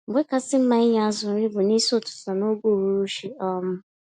Mgbé kachasị mma ịnye azụ nri bu N'isi ụtụtụ na ógè uhuruchi. um